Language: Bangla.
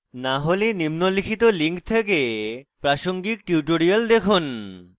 না হলে নিম্নলিখিত লিঙ্ক থেকে প্রাসঙ্গিক tutorials দেখুন